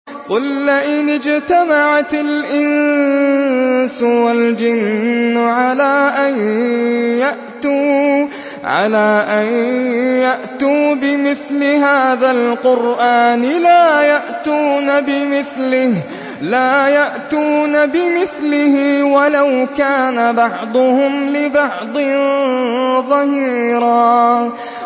قُل لَّئِنِ اجْتَمَعَتِ الْإِنسُ وَالْجِنُّ عَلَىٰ أَن يَأْتُوا بِمِثْلِ هَٰذَا الْقُرْآنِ لَا يَأْتُونَ بِمِثْلِهِ وَلَوْ كَانَ بَعْضُهُمْ لِبَعْضٍ ظَهِيرًا